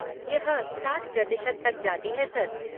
यह साठ प्रतिशत तक जाती है, सर।